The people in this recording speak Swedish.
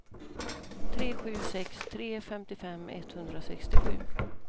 tre sju sex tre femtiofem etthundrasextiosju